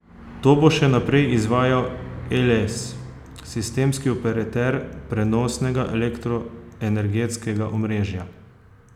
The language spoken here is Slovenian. To bo še naprej izvajal Eles, sistemski operater prenosnega elektroenergetskega omrežja.